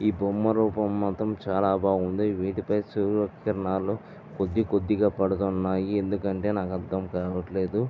ఈ బొమ్మ రూపం మాత్రం చాలా బాగుంది వీటిపై సూర్యకిరణాలు కొద్దీ కొద్దిగా పడుతున్నాయి ఎందుకంటే నాకు అర్ధం కావటలేదు.